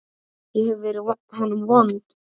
Ég hef verið honum vond.